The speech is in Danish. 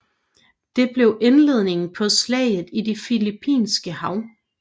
Det blev indledningen på Slaget i det Filippinske hav